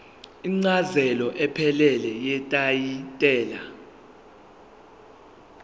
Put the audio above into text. incazelo ephelele yetayitela